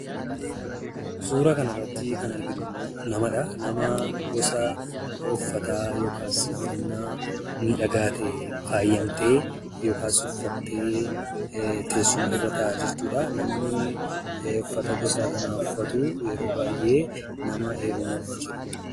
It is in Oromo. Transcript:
Suuraa kana irratti kan arginu ammoo namadha. Nama gosa uffataa yookis uffannaa miidhagaa ta'een faayamtee yookaas uffattee teessuma irra taa'aa jirtudha. Namni uffata gosa kanaa uffatu yeroo baay'ee nama heerumuuf jedhudha.